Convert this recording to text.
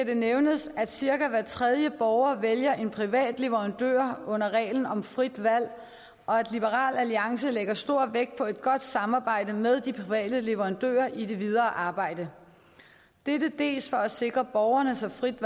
det nævnes at cirka hver tredje borger vælger en privat leverandør under reglen om frit valg og at liberal alliance lægger stor vægt på et godt samarbejde med de private leverandører i det videre arbejde dels for at sikre borgerne så frit